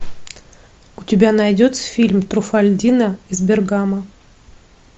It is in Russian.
у тебя найдется фильм труффальдино из бергамо